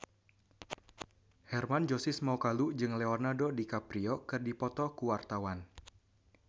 Hermann Josis Mokalu jeung Leonardo DiCaprio keur dipoto ku wartawan